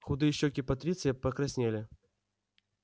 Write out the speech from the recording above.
худые щёки патриция покраснели